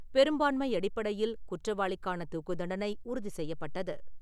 பெரும்பான்மை அடிப்படையில் குற்றவாளிக்கான தூக்குத் தண்டனை உறுதி செய்யப்பட்டது.